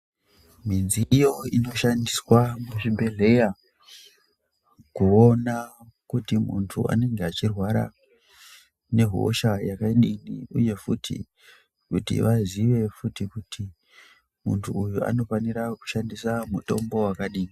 Midziyo inoshandiswa muzvibhedhleya kuwona kuti muntu wanenge wachirwarwa nehosha yakadini uye futhi, kuti vaziye kuti muntu uyu anofanira kushandisa mutombo wakadini.